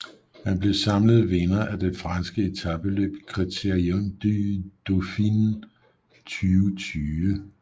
Han blev samlet vinder af det franske etapeløb Critérium du Dauphiné 2020